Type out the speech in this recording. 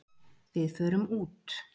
Við förum út.